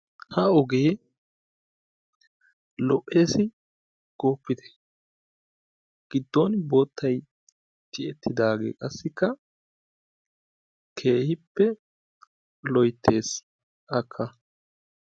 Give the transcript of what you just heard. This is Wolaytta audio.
Ha ogee lo'ees goopite, gidon bootay tiyetidaagee keehippe loyttees qassi akka.